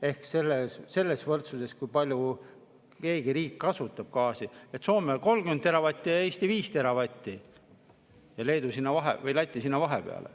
Ehk selles võrdluses, kui palju keegi riik kasutab gaasi, on nii: Soome on 30 teravatti, Eesti 5 teravatti ja Leedu või Läti sinna vahepeale.